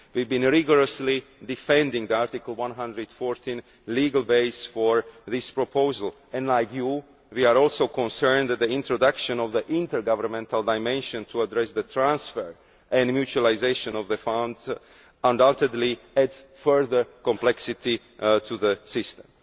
We have been rigorously defending the Article 114 legal base for this proposal and, like you, are also concerned that the introduction of the intergovernmental dimension to address the transfer and mutualisation of the fund undoubtedly adds further complexity to the system.